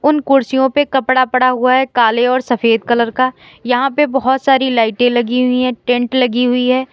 उन कुर्सियों पे कपड़ा पड़ा हुआ है काले और सफेद कलर का यहां पे बहुत सारी लाइटें लगी हुई है टेंट लगी हुई है।